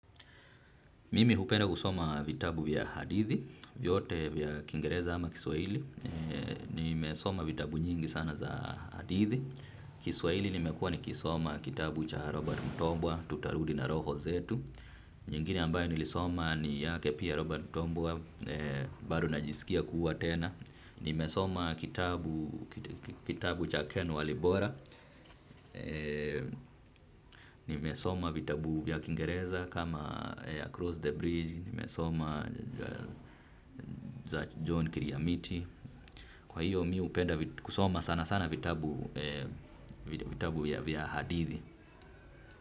Mimi hupenda kusoma vitabu vya hadithi, vyote vya kingereza ama kiswahili. Nimesoma vitabu nyingi sana za hadithi. Kiswahili nimekuwa nikisoma kitabu cha Robert Mutombwa, Tutarudi na Roho Zetu. Nyingine ambayo nilisoma ni yake pia Robert Mutombwa, bado najisikia kuwa tena. Nimesoma kitabu cha Ken Walibora. Nimesoma vitabu vya kingereza kama ya Cross the Bridge. Nimesoma za John Kiriamiti. Kwa hiyo mi hupenda kusoma sanasana vitabu vya hadithi.